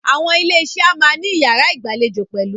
Àwọn ilé iṣé a máà ní iyàrá ìgbàlejò pẹ̀lú.